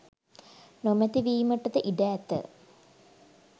නොමැති වීමටද ඉඩ ඇත.